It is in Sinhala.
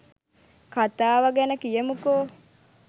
කතාව ගැන කියමුකෝ